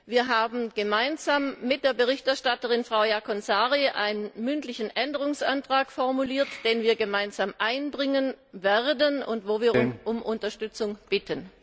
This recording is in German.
Wir haben gemeinsam mit der Berichterstatterin, Frau Jaakonsaari, einen mündlichen Änderungsantrag formuliert, den wir gemeinsam einbringen werden und für den wir um Unterstützung bitten.